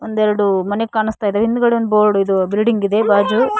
ಒಂದೇರದು ಮನೆ ಕಾಣಸ್ತಾಇದೆ ಹಿಂದಗಡೆ ಒಂದ ಬೋರ್ಡ್ ಇದು ಬಿಲ್ಡಿಂಗ್ ಇದೆ ಭಾಜು --